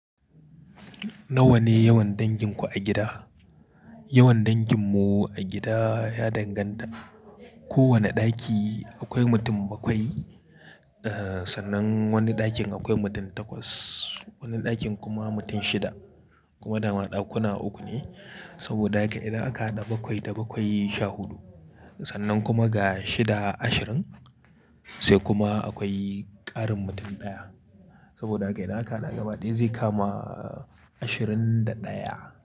Nawa ne yawan danginku a gida? Yawan danginmu a gida ya danganta. Ko wane ɗaki akwai mutum bakwai, eh, sannan wani ɗakin akwai mutum takwas, wani ɗakin kuma mutum shida. Kuma daman ɗakuna uku ne. Saboda haka idan aka haɗa bakwai da bakwai sha huɗu, sannan kuma ga shida ashirin, sai kuma akwai ƙarin mutum ɗaya. Saboda haka idan aka haɗa gabadaya, zai kama ashirin da ɗaya.